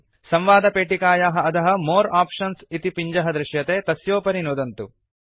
संवादपेटिकायाः अधः more options इति पिञ्जः दृश्यते तस्योपरि नुदन्तु